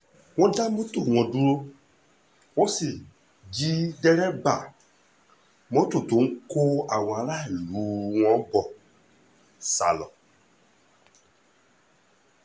wọ́n dá mọ́tò wọn dúró wọ́n sì jí dèrèbà mọ́tò tó ń kó àwọn aráàlú ọ̀hún bó sá lọ